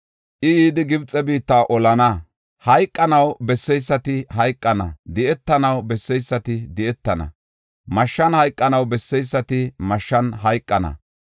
I yidi Gibxe biitta olana. Hayqos besseysati hayqana; di7etanaw besseysati di7etana; mashshan hayqanaw besseysati mashshan hayqana.